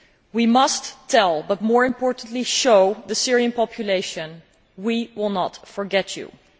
We must tell, but more importantly show, the Syrian population we will not forget them.